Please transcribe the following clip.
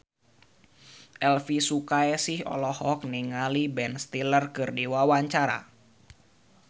Elvi Sukaesih olohok ningali Ben Stiller keur diwawancara